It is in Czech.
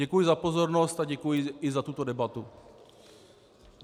Děkuji za pozornost a děkuji i za tuto debatu.